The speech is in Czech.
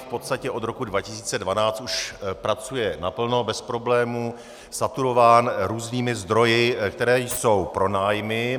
V podstatě od roku 2012 už pracuje naplno, bez problémů, saturován různými zdroji, které jsou pronájmy.